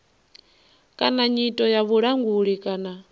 kana nyito ya vhulanguli kana